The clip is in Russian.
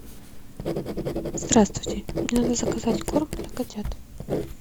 здравствуйте мне надо заказать корм для котят